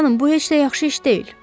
Xanım, bu heç də yaxşı iş deyil.